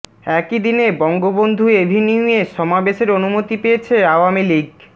একই দিন বঙ্গবন্ধু এভিনিউয়ে সমাবেশের অনুমতি পেয়েছে আওয়ামী লীগ